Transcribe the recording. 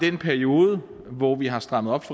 i den periode hvor vi har strammet op